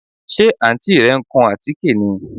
Ṣe Àǹtí rẹ ń kun àtíké ni?